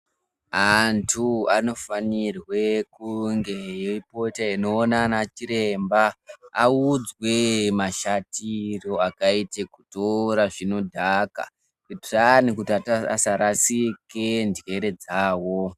Anthu anofanirwe kunge eipota eindoona anana chiremba, audzwe mashatire akaite kutora zvinodhaka Kuitira anthu asarashike njere dzawo.